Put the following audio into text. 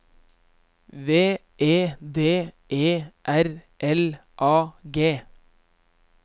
V E D E R L A G